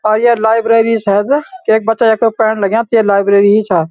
आ ये लाइब्रेरी शायद केक बच्चा यख पेड़न लग्याँ ते ये लाइब्रेरी हि छा।